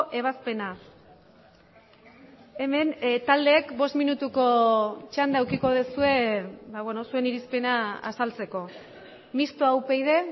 ebazpena hemen taldeek bost minutuko txanda edukiko duzue zuen irizpena azaltzeko mistoa upyd